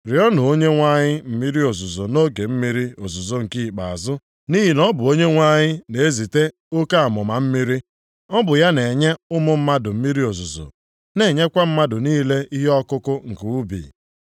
Rịọọnụ Onyenwe anyị mmiri ozuzo nʼoge mmiri ozuzo nke ikpeazụ, nʼihi na ọ bụ Onyenwe anyị na-ezite oke amụma mmiri. Ọ bụ ya na-enye ụmụ mmadụ mmiri ozuzo, na-enyekwa mmadụ niile ihe ọkụkụ nke ubi.